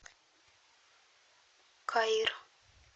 каир